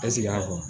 E sigi a